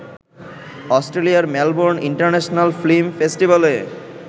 অস্ট্রেলিয়ার Melbourne international film ফেস্টিভ্যালে